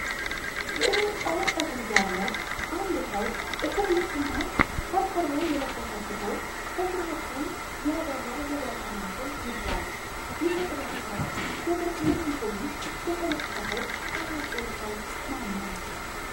ግራጫ ፀጉር ያለው አንድ ሰው ጥቁር ልብስና ከርከሮ የለበሰ ሲሆን፣ በግራ እጁ ያበራ የብርሃን አምፖል ይዟል። ይህ የጥበብ ሥራ የብርሃን አምፖሉን የፈለሰፈው ታዋቂው ሰው ማነው?